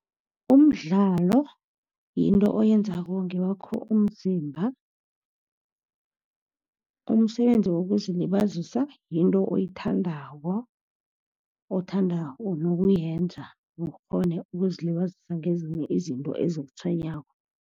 Umdlalo yinto oyenzako ngewakho umzimba. Umsebenzi wokuzilibazisa yinto oyithandako, othanda nokuyenza, ukghone ukuzilibazisa ngezinto ezikutshwenyako.